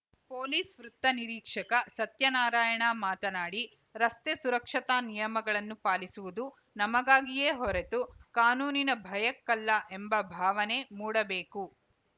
police ವೃತ್ತ ನಿರೀಕ್ಷಕ ಸತ್ಯನಾರಾಯಣ ಮಾತನಾಡಿ ರಸ್ತೆ ಸುರಕ್ಷತಾ ನಿಯಮಗಳನ್ನು ಪಾಲಿಸುವುದು ನಮಗಾಗಿಯೇ ಹೊರತು ಕಾನೂನಿನ ಭಯಕ್ಕಲ್ಲ ಎಂಬ ಭಾವನೆ ಮೂಡಬೇಕು